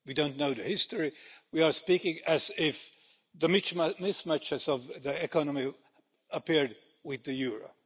We don't know the history. We are speaking as if the mismatches of the economy appeared with the euro.